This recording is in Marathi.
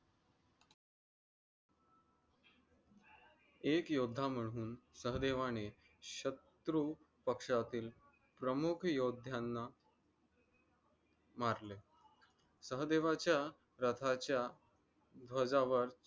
एक योद्धा म्हणून सहदेवाने शत्रू पक्षातील प्रमुख योद्ध्यांना मारले. सह्देवाचा रथाचा ध्वजावर